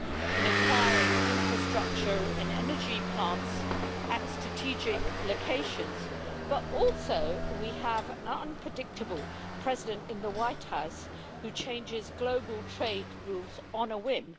in acquiring infrastructure and energy plants at strategic locations, but we also have an unpredictable President in the White House who changes global trade rules on a whim.